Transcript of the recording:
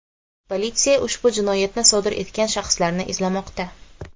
Politsiya ushbu jinoyatni sodir etgan shaxslarni izlamoqda.